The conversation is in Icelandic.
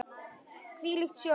Hvílík sjón!